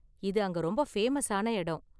இது அங்க ரொம்ப ஃபேமஸான இடம்.